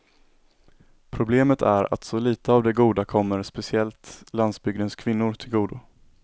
Problemet är att så lite av det goda kommer speciellt landsbygdens kvinnor till godo.